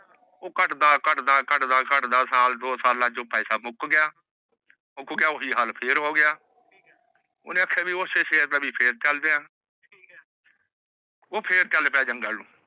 ਓਹ ਘਟਦਾ ਘਟਦਾ ਸਾਲ ਦੋ ਸਾਲੋ ਚ ਪੈਸਾ ਮੁਕ ਗਯਾ ਓਹੀ ਹਾਲ ਫਿਰਤ ਹੋ ਗਯਾ ਓਹਨੇ ਕ੍ਯਾ ਕੀ ਓਹ੍ਸੀ ਸ਼ੇਰ ਫਿਰ ਚਲਦੇ ਆਹ ਓਹ ਫਿਰ ਚਲ ਪਾਯਾ ਜੰਗਲੇ ਚ